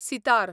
sitar